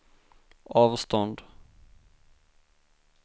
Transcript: avstånd